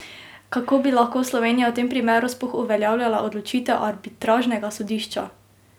Kako bi lahko Slovenija v tem primeru sploh uveljavljala odločitev arbitražnega sodišča?